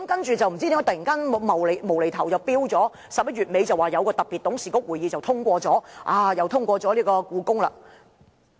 接着，不知道為甚麼突然在11月底又說在一個特別董事局會議通過了興建故宮館。